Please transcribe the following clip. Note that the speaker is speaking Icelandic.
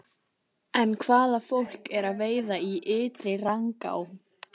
En hvaða fólk er að veiða í Ytri-Rangá?